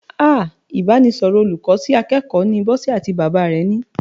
Ah! Ìbánisọ̀rọ̀ olùkọ́ sí akẹ́kọ̀ọ́ ni Bọ́sẹ̀ àti bàbá rẹ̀ ni.